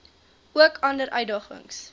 ook ander uitdagings